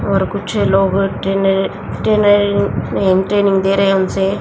और कुछ लोग ट्रेनर ट्रेनर नहीं ट्रेनिंग दे रहे हैं उनसे।